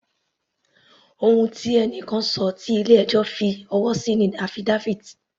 Ohun tí ẹni kan ṣọ tí ilé ẹjọ́ fi ọwọ́ sí ni affidavit.